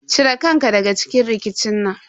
Ci re kan ka daga cikin rikicin nan.